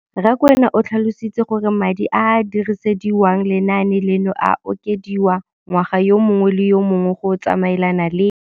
Rakwena o tlhalositse gore madi a a dirisediwang lenaane leno a okediwa ngwaga yo mongwe le yo mongwe go tsamaelana le